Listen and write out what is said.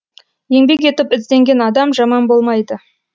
еңбек етіп ізденген адам жаман болмайды